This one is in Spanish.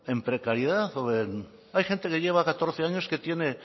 en precariedad o en hay gente que lleva catorce años que tiene